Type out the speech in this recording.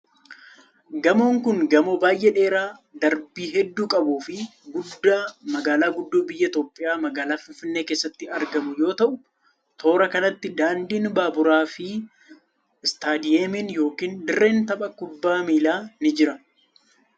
Gamoon kun gamoo baay'ee dheeraa darbii hedduu qabuu fi guddaa magaalaa guddoo biyya Itoophiyaa magaalaa Finfinnee keessatti argamu yoo ta'u, toora kanatti daandiin baaburaa fi istaadiyamiin yokin dirreen tapha kubbaa miilaa ni jira.